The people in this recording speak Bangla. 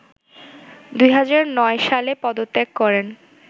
২০০৯ সালে পদত্যাগ করেন